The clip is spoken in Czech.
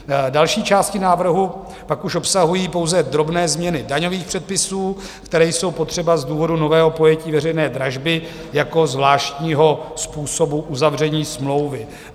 Další části návrhu pak už obsahují pouze drobné změny daňových předpisů, které jsou potřeba z důvodu nového pojetí veřejné dražby jako zvláštního způsobu uzavření smlouvy.